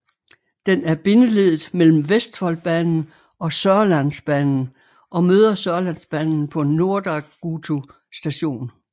Den er bindeleddet mellem Vestfoldbanen og Sørlandsbanen og møder Sørlandsbanen på Nordagutu station